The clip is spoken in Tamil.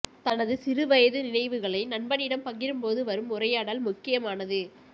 தனது சிறு வயது நினைவுகளை நண்பனிடம் பகிரும்போது வரும் உரையாடல் முக்கியமானது